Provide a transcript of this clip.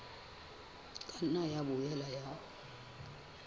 ka nna ya boela ya